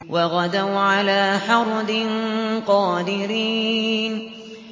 وَغَدَوْا عَلَىٰ حَرْدٍ قَادِرِينَ